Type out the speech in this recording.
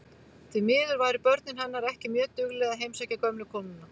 Því miður væru börnin hennar ekki mjög dugleg að heimsækja gömlu konuna.